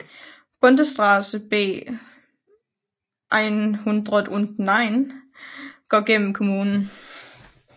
Bundesstraße B 109 går gennem kommunen